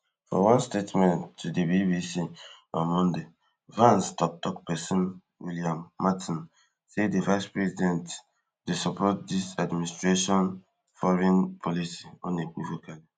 for one statement to di bbc on monday vance toktok pesin william martin say di vicepresident dey support dis administration foreign policy unequivocally